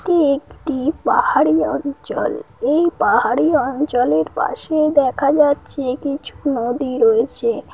এটি একটি পাহাড়ি অঞ্চল। এই পাহাড়ি অঞ্চলের পাশে দেখা যাচ্ছে কিছু নদী রয়েছে।